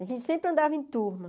A gente sempre andava em turma.